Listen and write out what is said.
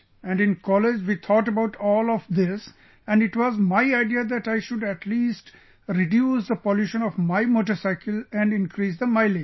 And in college we thought about all of this and it was my idea that I should at least reduce the pollution of my motorcycle and increase the mileage